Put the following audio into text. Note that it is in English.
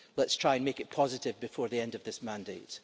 Let's try and make it positive before the end of this mandate.